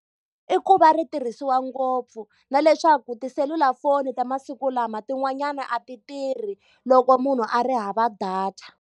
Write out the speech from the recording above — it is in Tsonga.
I ku va ri tirhisiwa ngopfu, na leswaku tiselulafoni ta masiku lama tin'wanyana a ti tirhi loko munhu a ri hava data.